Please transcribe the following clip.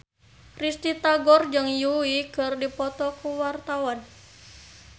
Risty Tagor jeung Yui keur dipoto ku wartawan